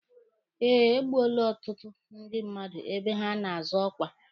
E gbuole ọtụtụ ndị mmadụ ebe ha na-azọ ọkwa.